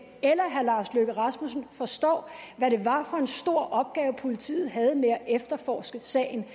eller herre lars løkke rasmussen forstår hvad det var for en stor opgave politiet havde med at efterforske sagen